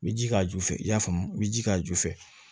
N bɛ ji k'a ju fɛ i y'a faamu u bɛ ji k'a ju fɛ